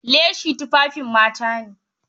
Leshi tufafin mata ne.